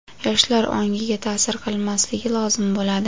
yoshlar ongiga ta’sir qilmasligi lozim bo‘ladi.